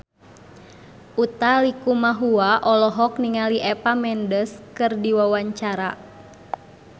Utha Likumahua olohok ningali Eva Mendes keur diwawancara